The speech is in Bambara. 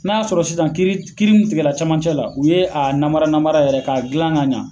Na ya sɔrɔ sisan kiiri in tigɛla camancɛ la u ye a nara nara yɛrɛ ka gilan ka ɲa